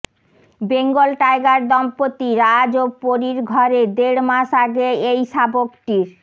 Bengal tiger দম্পতি রাজ ও পরির ঘরে দেড় মাস আগে এই শাবকটির